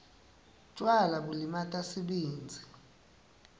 tjwala bulimata sibindzi